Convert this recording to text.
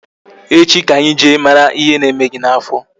Echi ka anyi jee mara ihe na-eme gị n'afọ